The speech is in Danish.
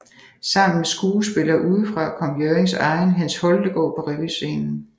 Sammen med skuespillere udefra kom Hjørrings egen Hans Holtegaard på revyscenen